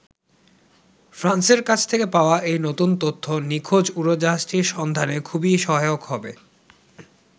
ফ্রান্সের কাছ থেকে পাওয়া এই নতুন তথ্য নিখোঁজ উড়োজাহাজটির সন্ধানে খুবই সহায়ক হবে।